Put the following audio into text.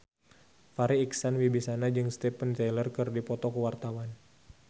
Farri Icksan Wibisana jeung Steven Tyler keur dipoto ku wartawan